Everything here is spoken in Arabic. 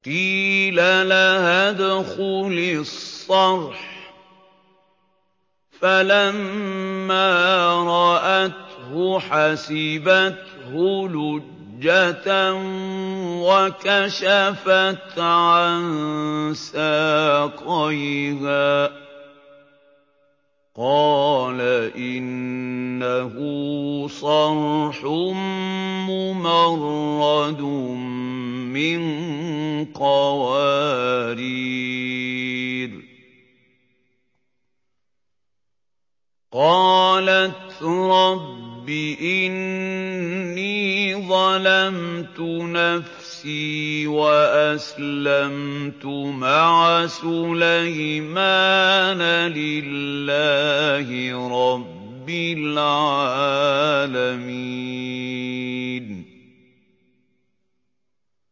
قِيلَ لَهَا ادْخُلِي الصَّرْحَ ۖ فَلَمَّا رَأَتْهُ حَسِبَتْهُ لُجَّةً وَكَشَفَتْ عَن سَاقَيْهَا ۚ قَالَ إِنَّهُ صَرْحٌ مُّمَرَّدٌ مِّن قَوَارِيرَ ۗ قَالَتْ رَبِّ إِنِّي ظَلَمْتُ نَفْسِي وَأَسْلَمْتُ مَعَ سُلَيْمَانَ لِلَّهِ رَبِّ الْعَالَمِينَ